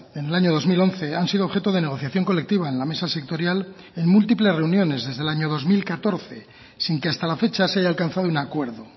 en el año dos mil once han sido objeto de negociación colectiva en la mesa sectorial en múltiples reuniones desde el año dos mil catorce sin que hasta la fecha se haya alcanzado un acuerdo